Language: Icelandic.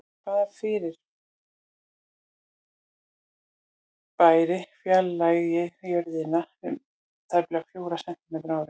Hvaða fyrirbæri fjarlægist Jörðina um tæplega fjóra sentímetra á ári?